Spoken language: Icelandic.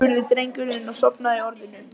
spurði drengurinn og sofnaði í orðinu.